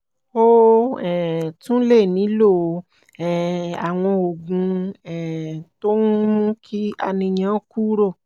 o um tún lè nílò um àwọn oògùn um tó ń mú kí àníyàn kúrò